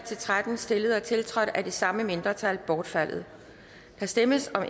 tretten stillet og tiltrådt af det samme mindretal bortfaldet der stemmes om